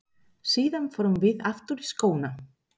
Síðan förum við aftur í skóna.